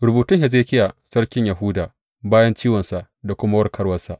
Rubutun Hezekiya sarkin Yahuda bayan ciwonsa da kuma warkarwarsa.